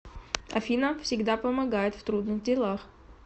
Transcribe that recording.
афина всегда помогает в трудных делах